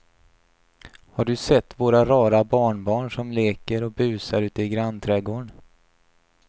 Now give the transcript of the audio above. Har du sett våra rara barnbarn som leker och busar ute i grannträdgården!